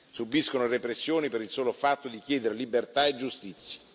Subiscono repressioni per il solo fatto di chiedere libertà e giustizia.